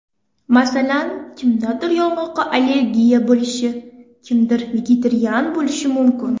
Masalan, kimdadir yong‘oqqa allergiya bo‘lishi, kimdir vegetarian bo‘lishi mumkin.